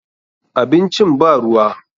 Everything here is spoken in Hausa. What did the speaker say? Abincin ba ruwa.